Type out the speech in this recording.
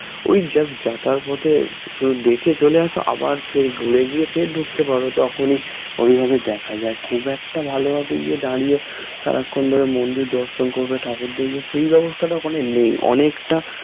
ওই just যাওয়ার পথে শুধু দেখে চলে আসা আবার ফের ঘুরে গিয়ে ফের ঢুকতে পারো তখনই ঐভাবে দেখা যায় খুব একটা ভালোভাবে ইয়ে দাঁড়িয়ে সারাক্ষন ধরে মন্দির দর্শন করবে ঠাকুর দেখবে সেই ব্যবস্থাটা ওখানে নেই অনেকটা